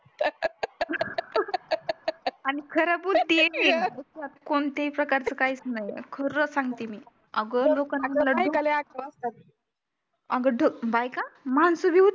आणि खरं बोलती मी कोणतेही प्रकारचं काईच नये खरं संगती मी अग लोकांनी मला आग लोकांनी मला ढकलून अग बायका लय आगाव असतात अग बायका माणसं भी होती